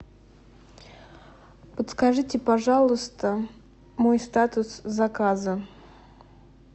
подскажите пожалуйста мой статус заказа